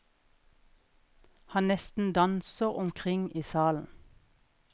Han nesten danser omkring i salen.